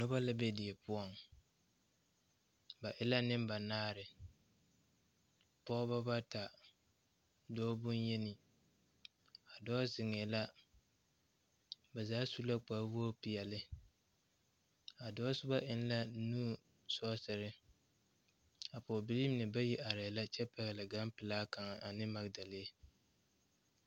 Noba la ne die poɔŋ ba e la niŋ banaare pɔeba bata dɔɔ bonyeni a dɔɔ ziŋɛɛ la ba zaa sue kparewoge peɛle a dɔɔ soba eŋ la nu sɔɔsire a pɔgebileeine arɛɛ la kyɛ pɛgle ganpilaa kaŋa ne magdelee.